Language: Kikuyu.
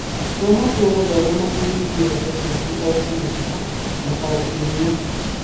Tua matua gũthoma na kũhingia iroto ciaku o,semesta na o,kiumia